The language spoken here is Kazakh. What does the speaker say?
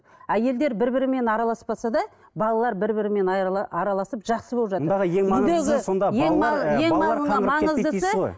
әйелдер бір бірімен араласпаса да балалар бірі бірімен араласып жақсы болып жатыр